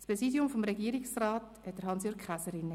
Das Präsidium des Regierungsrats hatte Hans-Jürg Käser inne.